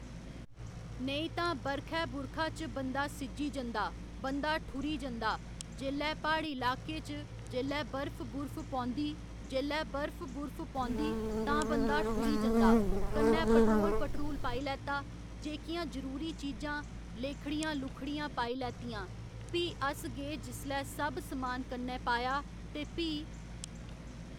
नेईं तां बरखै बुरखा च बंदा सिज्जी जंदा बंदा ठूरी जंदा जेल्लै प्हाड़ी लाकै च जेल्लै बर्फ बुर्फ पौंदी जेल्लै बर्फ बुर्फ पौंदी तां बंदा ठुरी जंदा कन्नै पैट्रोल पट्रूल पाई लैत्ता जेह्‌कियां जरूरी चीजां लेह्खड़ियां लुह्खड़ियां पाई लैत्तियां भी अस गे जिसलै सब समान कन्नै पाया ते भी